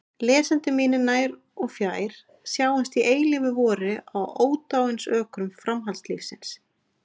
Lesendur mínir nær og fjær, sjáumst í eilífu vori á ódáinsökrum framhaldslífsins!